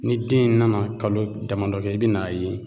Ni den in nana kalo damadɔ kɛ i bi n'a ye